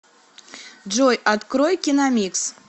джой открой киномикс